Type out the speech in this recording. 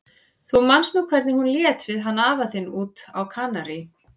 Þú manst nú hvernig hún lét við hann afa þinn úti á Kanarí.